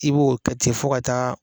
I b'o ka ten fɔ ka taa